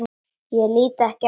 Og lít ekki á hana.